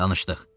Danışdıq.